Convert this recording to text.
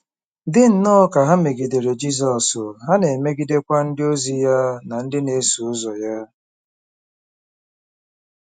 Dị nnọọ ka ha megidere Jizọs, ha na-emegidekwa ndịozi ya na ndị na-eso ụzọ ya.